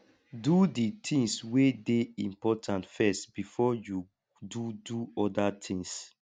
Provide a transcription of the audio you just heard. do di things wey de important first before you do do other things